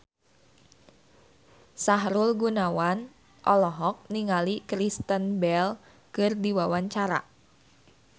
Sahrul Gunawan olohok ningali Kristen Bell keur diwawancara